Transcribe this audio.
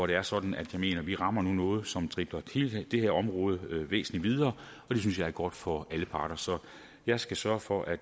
det er sådan at vi vi rammer noget som driver hele det her område væsentlig videre og det synes jeg er godt for alle parter jeg skal sørge for at